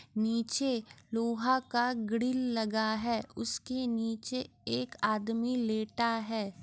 नीचे लोहा का ग्रिल लगा है उसके नीचे एक आदमी लेटा है।